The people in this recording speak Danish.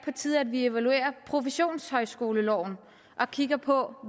tide at vi evaluerer professionshøjskoleloven og kigger på